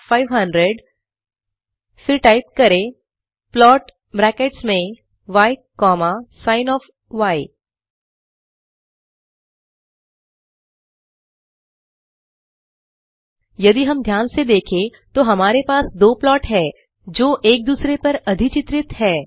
फिर टाइप करें plot brackets में य कॉमा सिन ओएफ यदि हम ध्यान से देखें तो हमारे पास दो प्लॉट हैं जो एक दूसरे पर अधिचित्रित है